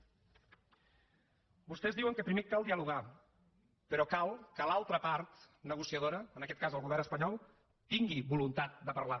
vostès diuen que primer cal dialogar però cal que l’altra part negociadora en aquest cas el govern espanyol tingui voluntat de parlar